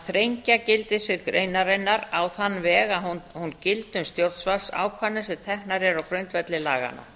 þrengja gildissvið greinarinnar á þann veg að hún gildi um stjórnvalds ákvarðanir sem teknar eru á grundvelli laganna